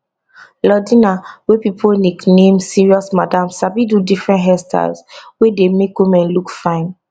lordina wey pipo nickname serious madam sabi do different hairstyles wey dey make women look fine